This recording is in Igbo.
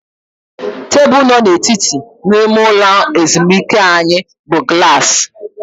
Tebụl nọ n'etiti n'ime ụlọ ezumike anyị bụ glaasị